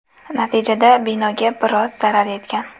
Natijada binoga biroz zarar yetgan.